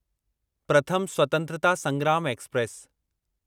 प्रथम स्वतंत्रता संग्राम एक्सप्रेस